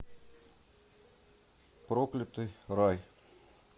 проклятый рай